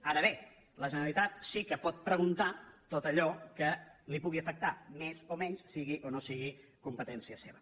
ara bé la generalitat sí que pot preguntar tot allò que la pugui afectar més o menys sigui o no sigui competència seva